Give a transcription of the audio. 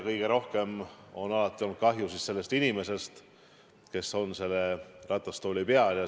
Kõige rohkem on alati olnud kahju sellest inimesest, kes on selle ratastooli peal.